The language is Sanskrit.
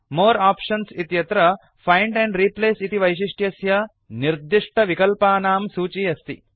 मोरे आप्शन्स् इत्यत्र फाइण्ड एण्ड रिप्लेस इति वैशिष्ट्यस्य निर्दिष्टविकल्पानां सूची अस्ति